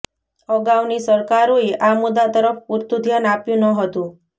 અગાઉની સરકારોએ આ મુદ્દા તરફ પૂરતું ધ્યાન આપ્યું ન હતું